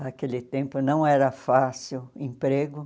Naquele tempo não era fácil emprego.